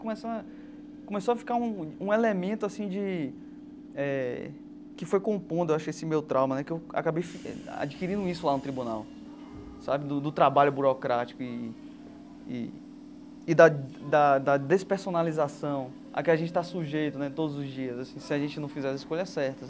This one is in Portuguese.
Começou a começou a ficar um um elemento assim de eh que foi compondo acho esse meu trauma né, que eu acabei adquirindo isso lá no tribunal sabe, do do trabalho burocrático e e e da da da despersonalização a que a gente está sujeito né todos os dias, assim se a gente não fizer as escolhas certas.